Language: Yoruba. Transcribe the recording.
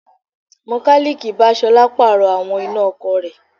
Mọkálíìkì bá Ṣọlá Pààrọ̀ àwọn iná ọkọ̀ rẹ̀